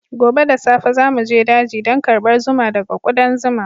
Gobe da safe za mu je daji don karbar zuma daga ƙudan zuma.